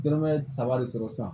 Dɔrɔmɛ saba de sɔrɔ sisan